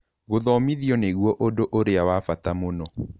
Gũthomithio nĩguo ũndũ ũrĩa wa bata mũno.